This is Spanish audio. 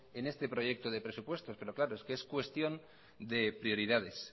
en este proyecto de presupuestos es que es cuestión de prioridades